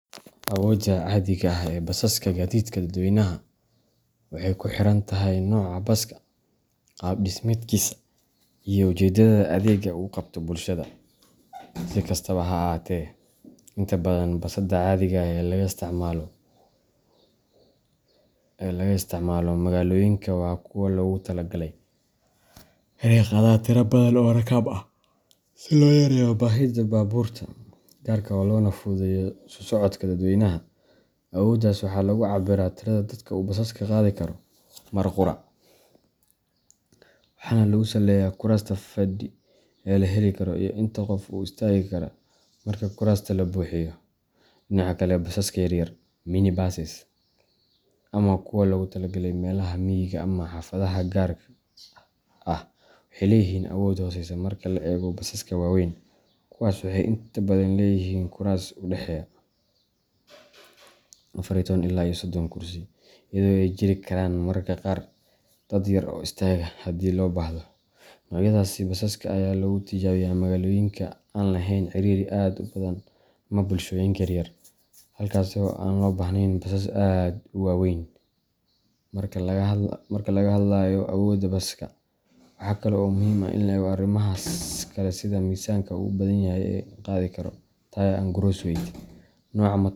Awoodda caadiga ah ee basaska gaadiidka dadweynaha waxay ku xiran tahay nooca baska, qaab dhismeedkiisa, iyo ujeedada adeegga uu u qabto bulshada. Si kastaba ha ahaatee, inta badan basaska caadiga ah ee laga isticmaalo magaalooyinka waa kuwa loogu talagalay inay qaadaan tiro badan oo rakaab ah, si loo yareeyo baahida baabuurta gaarka ah loona fududeeyo isu socodka dadweynaha. Awooddaas waxaa lagu cabbiraa tirada dadka uu baska qaadi karo mar qura, waxaana lagu saleeyaa kuraasta fadhi ee la heli karo iyo inta qof ee istaagi kara marka kuraasta la buuxiyo. Dhinaca kale, basaska yaryar mini buses ama kuwa loogu tala galay meelaha miyiga ama xaafadaha gaarka ah waxay leeyihiin awood hooseysa marka loo eego basaska waaweyn. Kuwaas waxay inta badan leeyihiin kuraas u dhexeeya afar iyo toban ilaa sodon kursi, iyadoo ay jiri karaan mararka qaar dad yar oo istaaga haddii loo baahdo. Noocyadaasi basaska ayaa lagu tijaabiyaa magaalooyinka aan lahayn ciriiri aad u badan ama bulshooyinka yaryar halkaasoo aan loo baahneyn basas aad u waaweyn. Marka laga hadlayo awoodda baska, waxaa kale oo muhiim ah in la eego arrimaha kale sida miisaanka ugu badan ee uu qaadi karo tare and gross weight, nooca.